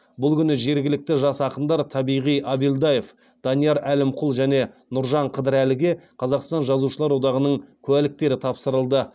бұл күні жергілікті жас ақындар табиғат абаилдаев данияр әлімқұл және нұржан қадірәліге қазақстан жазушылар одағының куәліктері тапсырылды